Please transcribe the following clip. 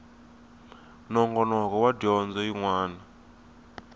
nongonoko wa dyondzo yin wana